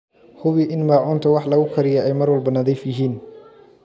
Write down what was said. Hubi in maacuunta wax lagu kariyo ay mar walba nadiif yihiin.